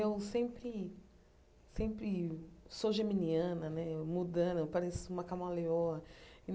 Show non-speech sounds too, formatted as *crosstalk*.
Eu sempre sempre sou geminiana né, *unintelligible* eu pareço uma camaleoa.